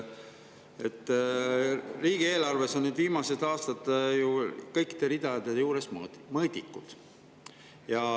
Riigieelarves on viimastel aastatel ju kõikide ridade juures mõõdikud.